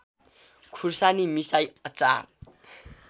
खुर्सानी मिसाई अचार